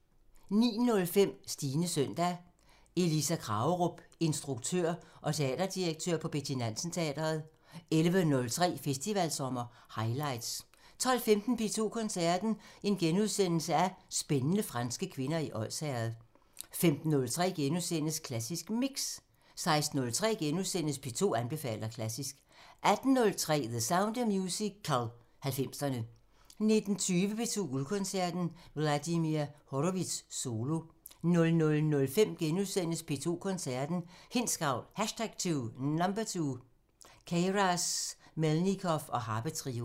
09:05: Stines søndag – Elisa Kragerup, instruktør og teaterdirektør på Betty Nansen Teatret 11:03: Festivalsommer highlights 12:15: P2 Koncerten – Spændende franske kvinder i Odsherred * 15:03: Klassisk Mix * 16:03: P2 anbefaler klassisk * 18:03: The Sound of Musical: 90'erne 19:20: P2 Guldkoncerten – Vladimir Horowitz solo 00:05: P2 Koncerten – Hindsgavl #2 – Queyras/Melnikov og harpetrio *